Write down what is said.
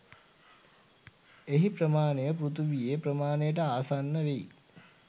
එහි ප්‍රමාණය පෘථිවියේ ප්‍රමාණයට ආසන්න වෙයි